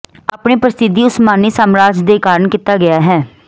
ਆਪਣੇ ਪ੍ਰਸਿੱਧੀ ਉਸਮਾਨੀ ਸਾਮਰਾਜ ਦੇ ਕਾਰਨ ਕੀਤਾ ਗਿਆ ਹੈ